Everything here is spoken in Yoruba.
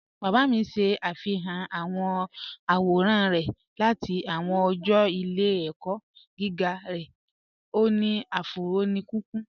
Bàbá mí ṣẹ̀ afihàn awọn awòràn rẹ̀ láti awọn ọ̀jọ́ ìlẹ̀-ẹ̀kọ̀ giga rẹ̀, o ni afúró ni kíkùn.